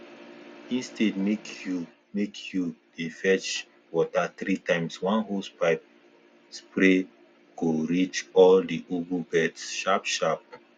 instead make you make you dey fetch water three times one hosepipe spray go reach all the ugu beds sharp sharp